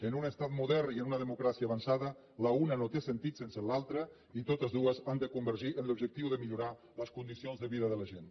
en un estat modern i en una democràcia avançada la una no té sentit sense l’altra i totes dues han de convergir en l’objectiu de millorar les condicions de vi da de la gent